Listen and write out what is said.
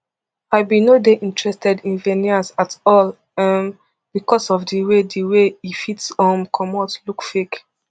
i bin no dey interested in veneers at all um becos of di way di way e fit um comot look fake